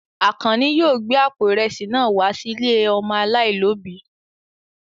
Àkànní yóò gbé àpò ìrẹsì náà wá sí ilé ọmọ aláìlóòbí.